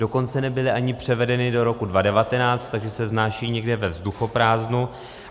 Dokonce nebyly ani převedeny do roku 2019, takže se vznášejí někde ve vzduchoprázdnu.